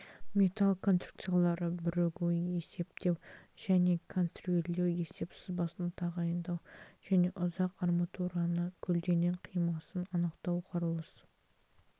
металл конструкциялары бірігуін есептеу және конструирлеу есеп сызбасын тағайындау және ұзақ арматураны көлденең қимасын анықтау құрылыс